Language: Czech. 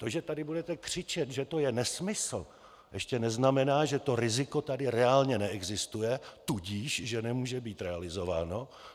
To, že tady budete křičet, že to je nesmysl, ještě neznamená, že to riziko tady reálně neexistuje, tudíž že nemůže být realizováno.